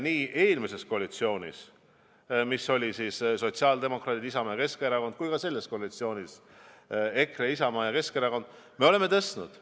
Nii eelmises koalitsioonis, kus olid sotsiaaldemokraadid, Isamaa ja Keskerakond, kui ka selles koalitsioonis – EKRE, Isamaa ja Keskerakond – on tõstetud õpetajate palka.